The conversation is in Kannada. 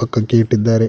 ಪಕ್ಜಕ್ಕೆ ಇಟ್ಟಿದ್ದಾರೆ.